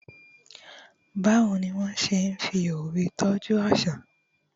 bawo ni a se n fi òwe tọju aṣa